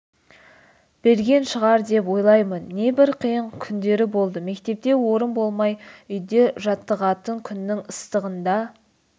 берген шығар деп ойлаймын небір қиын күндері болды мектепте орын болмай үйде жаттығатын күннің ыстығында